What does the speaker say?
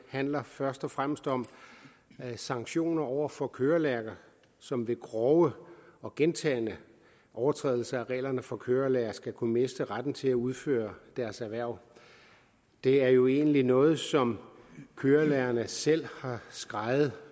handler først og fremmest om sanktioner over for kørelærere som ved grove og gentagne overtrædelser af reglerne for kørelærere skal kunne miste retten til at udføre deres erhverv det er jo egentlig noget som kørelærerne selv har skreget